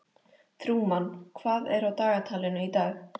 Trúmann, hvað er á dagatalinu í dag?